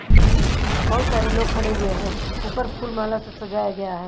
बहुत सारे लोग खड़े हुए हैं ऊपर फूल माला से सजाया गया है।